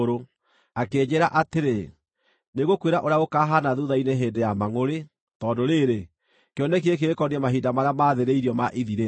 Akĩnjĩĩra atĩrĩ, “Nĩngũkwĩra ũrĩa gũkaahaana thuutha-inĩ hĩndĩ ya mangʼũrĩ, tondũ rĩrĩ, kĩoneki gĩkĩ gĩkoniĩ mahinda marĩa maathĩrĩirio ma ithirĩro.